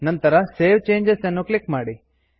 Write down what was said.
ನಂತರ save changes ಅನ್ನು click ಮಾಡಿ